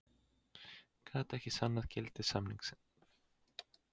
Gat ekki sannað gildi samnings